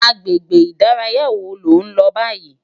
Agbégbé idàráyá wó ló n lò bàyí?